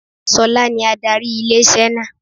Ṣọlá ní adarí ilé-iṣẹ́ náà